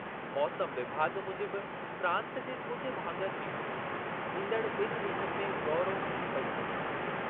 मौसमु विभाॻ मूजिबि प्रांतु जे कुझु भाङनि में ईंदड़ु ॿिनि ॾींहनि में ॻौरो मींहुं पई सघे थो।